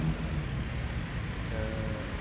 Sim ãh.